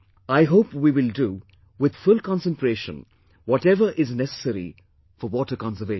I hope we will do, with full concentration, whatever is necessary for water conservation